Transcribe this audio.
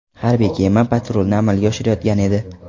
Harbiy kema patrulni amalga oshirayotgan edi.